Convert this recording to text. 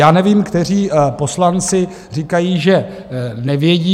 Já nevím, kteří poslanci říkají, že nevědí.